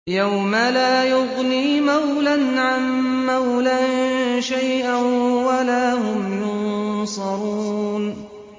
يَوْمَ لَا يُغْنِي مَوْلًى عَن مَّوْلًى شَيْئًا وَلَا هُمْ يُنصَرُونَ